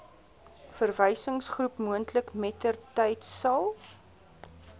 verwysingsgroep moontlik mettertydsal